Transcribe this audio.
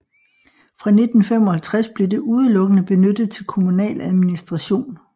Fra 1955 blev det udelukkende benyttet til kommunal administration